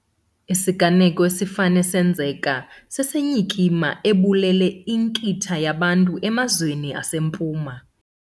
Isiganeko esifane senzeka sesenyikima ebulele inkitha yabantu emazweni aseMpuma.